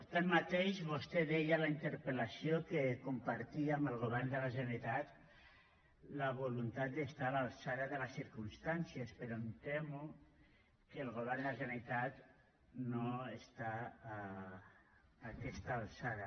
tanmateix vostè deia a la interpel·lació que compartia amb el govern de la generalitat la voluntat d’estar a l’altura de les circumstàncies però em temo que el govern de la generalitat no està a aquesta altura